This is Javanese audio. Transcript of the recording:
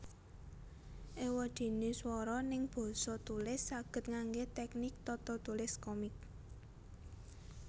Ewadene swara neng basa tulis saged ngangge teknik tatatulis komik